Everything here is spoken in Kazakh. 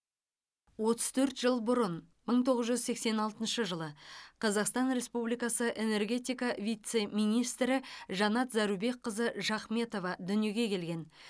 отыз төрт жыл бұрын мың тоғыз жүз сексен алтыншы жылы қазақстан республикасы энергетика вице министрі жанат зарубекқызы жахметова дүниеге келген